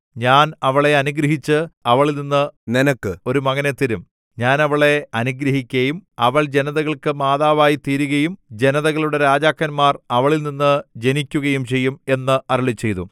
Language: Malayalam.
ഞാൻ അവളെ അനുഗ്രഹിച്ച് അവളിൽനിന്നു നിനക്ക് ഒരു മകനെ തരും ഞാൻ അവളെ അനുഗ്രഹിക്കയും അവൾ ജനതകൾക്ക് മാതാവായി തീരുകയും ജനതകളുടെ രാജാക്കന്മാർ അവളിൽ നിന്ന് ജനിക്കുകയും ചെയ്യും എന്നു അരുളിച്ചെയ്തു